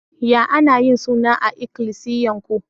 Ya ana yin suna a'ikilisiyan ku?